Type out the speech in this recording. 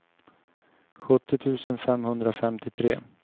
sjuttio tusen femhundrafemtiotre